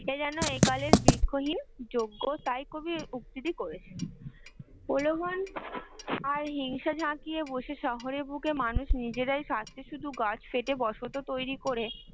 বৃক্ষহীন যজ্ঞ তাই কবি উক্তিটি করেছেন, প্রলোভন আর হিংসা ঝাকিয়ে বসে শহরের বুকে মানুষ নিজেরাই স্বার্থে শুধু বসতি তৈরি করে